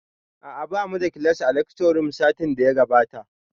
A'a bamu da class a lecture room satin da ya gabata